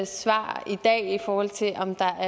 svar i dag i forhold til om der